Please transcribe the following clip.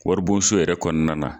Wari bon so yɛrɛ kɔnɔna na.